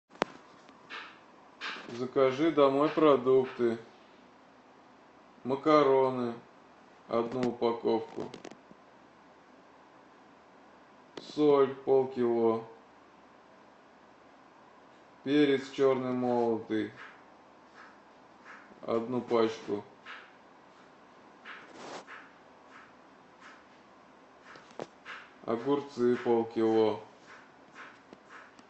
закажи домой продукты макароны одну упаковку соль полкило перец черный молотый одну пачку огурцы полкило